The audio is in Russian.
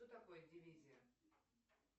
что такое дивизия